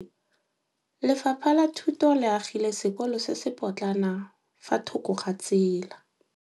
Lefapha la Thuto le agile sekôlô se se pôtlana fa thoko ga tsela.